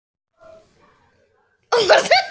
Svo rís hún loks upp og sýnir sitt ólétta andlit.